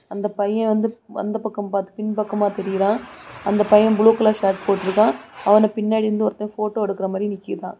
அந்தப் பையன் வந்து அந்தப் பக்கம் பார்த்து பின் பின்பக்கமா தெரிறான். அந்த பையன் ப்ளூ கலர் ஷர்ட் போட்டு இருக்கான். அவன பின்னாடி இருந்து ஒருத்தன் போட்டோ எடுக்குற மாதிரி நிக்குதான்.